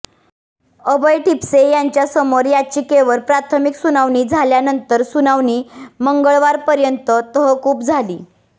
अभय ठिपसे यांच्यासमोर याचिकेवर प्राथमिक सुनावणी झाल्यानंतर सुनावणी मंगळवापर्यंत तहकूब झाली